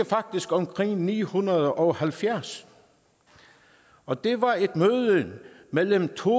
faktisk omkring år ni hundrede og halvfjerds og det var et møde mellem to